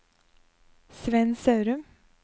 Svend Sørum